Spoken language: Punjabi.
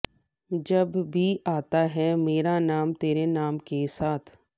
ਜਬ ਭੀ ਆਤਾ ਹੈ ਮੇਰਾ ਨਾਮ ਤੇਰੇ ਨਾਮ ਕੇ ਸਾਥ